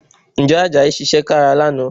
Ǹjẹ́ Àjàyí ṣiṣẹ́ kára lánàá?